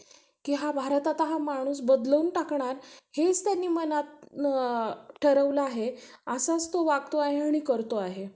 आता तर तीन वर्ष, चार वर्षांनी टाकतात. पहिले सहा वर्षांनी बालवाडी होती तर, तेव्हा पण लेकरू बसत नव्हत. पण आता ते सहा वर्षाचे लेकरं खूप हुशार झाले आहेत. तेव्हा आपल्याला, म्हणजे पहिल्या काळात आपल्याला